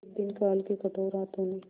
एक दिन काल के कठोर हाथों ने